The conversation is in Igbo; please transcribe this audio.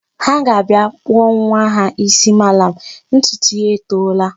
Ha ga-abịa kpụọ nwa ha isi malam, ntutu ya etoola.